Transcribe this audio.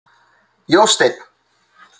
Jósteinn